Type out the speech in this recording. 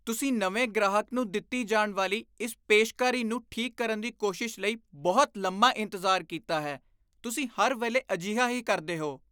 ਤੁਸੀਂ ਨਵੇਂ ਗ੍ਰਾਹਕ ਨੂੰ ਦਿੱਤੀ ਜਾਣ ਵਾਲੀ ਇਸ ਪੇਸ਼ਕਾਰੀ ਨੂੰ ਠੀਕ ਕਰਨ ਦੀ ਕੋਸ਼ਿਸ਼ ਲਈ ਬਹੁਤ ਲੰਮਾ ਇੰਤਜ਼ਾਰ ਕੀਤਾ ਹੈ। ਤੁਸੀਂ ਹਰ ਵੇਲੇ ਅਜਿਹਾ ਹੀ ਕਰਦੇ ਹੋ।